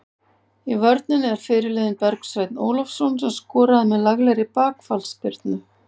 Í vörninni er fyrirliðinn Bergsveinn Ólafsson sem skoraði með laglegri bakfallsspyrnu.